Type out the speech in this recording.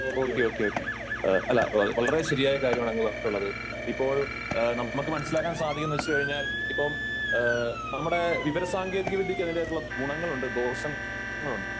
Okay okay okay അല്ല വളരെ ശരിയായ ഒരു കാര്യമാണ് അങ്ങ് പറഞ്ഞിട്ടുള്ളത് . ഇപ്പോൾ നമ്മക്ക് മനസ്സിലാക്കാൻ സാധിക്കും എന്ന് വച്ച് കഴിഞ്ഞാൽ ഇപ്പം നമ്മുടെ വിവര സാങ്കേതിക വിദ്യയ്ക്ക് അതിന്റേതായിട്ടുള്ള ഗുണങ്ങളുണ്ട് ദോഷങ്ങളുണ്ട് .